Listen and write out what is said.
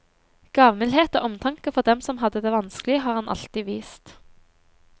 Gavmildhet og omtanke for dem som hadde det vanskleig, har han alltid vist.